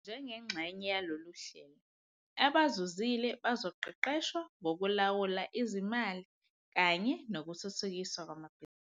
Njengengxenye yalolu hlelo, abazuzile bazoqeqeshwa ngokulawula izimali kanye nokuthuthukiswa kwamabhizinisi.